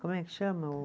Como é que chama o